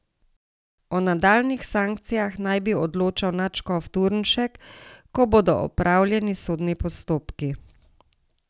O nadaljnjih sankcijah naj bi odločal nadškof Turnšek, ko bodo opravljeni sodni postopki.